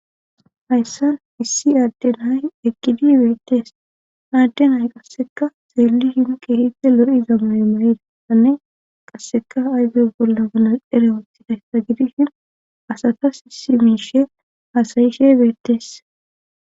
hayssan issi adde hay ekkidi beettees adden hay qasseka zeelli hinke hide lo7iza mayo may7idaanne qasseka ayze bolla ganal ere woothidayssa gidihin asatas isi miishe haasayishe beettees